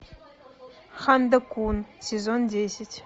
ханда кун сезон десять